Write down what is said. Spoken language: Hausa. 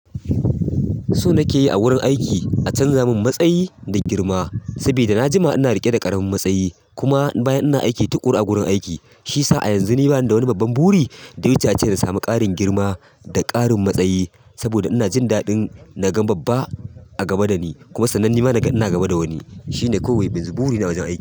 So nake yi a wurin aiki a canza min matsayi da girma, saboda na jima ina riƙe da ƙaramin matsayi kuma bayan ina aiki tuƙuru a gurin aiki. Shiyasa a yanzu ni bani da wani babban buri da wa ya wuce ace in samu ƙarin girma da ƙarin matsayi. Saboda ina jindadin naga babba a gaba dani kuma sannan nima naga ina gaba da wani shine kawai burina a wajen aiki.